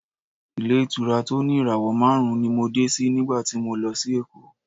Ilé-ìtura tó ní ìràwọ̀ márùn-ún ni mo dé sí nígbà tí mo lọ sí Èkó.